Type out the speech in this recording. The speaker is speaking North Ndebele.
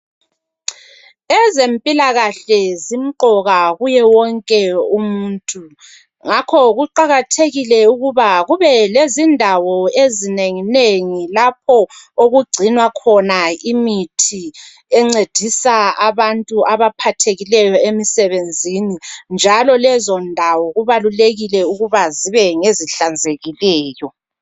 Ezempilakahle zimqoka kuye wonke umuntu. Ngakho kuqakathekile ukuba kube lezindawo ezinenginengi, lapho okugcinwa khona imithi encedisa abantu abaphathekileyo emsebenzini, njalo lezondawo, kubalulekile ukuthi zibengezihlanzekileyo.